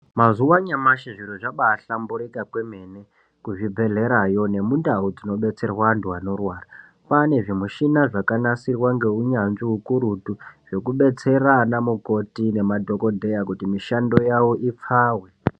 Mazuwa anyamashi zviro zvabahlamburuka kwemene. Kuzvibhehleyaro nemundau tinodetserwa antu anorwara. Kwanr zvimushina zvakagadzirwa neunyanzvi ukurutu zvekudetsera ana mukoti nemadhokodheya kuti mishando yavo ipfave.